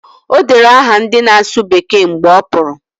O dere aha ndị na-asụ bekee mgbe ọ pụrụ